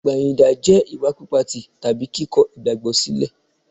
Ìpẹ̀yìndà jẹ́ ìwà pípa tì tàbí kíkọ igbagbo sílẹ̀.